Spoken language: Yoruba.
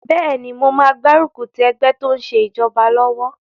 Bẹ́ẹ̀ni, mo máa gbárùkù ti ẹgbẹ́ tó n ṣe ìjọba lọ́wọ́